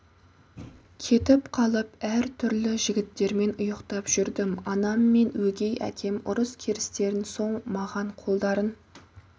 кетіп қалып әр түрлі жігіттермен ұйықтап жүрдім анам мен өгей әкем ұрыс-керістен соң маған қолдарын